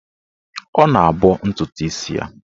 Ọ na-abọ ntụtụ isi ya.